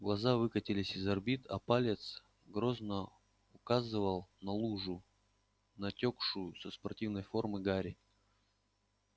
глаза выкатились из орбит а палец грозно указывал на лужу натёкшую со спортивной формы гарри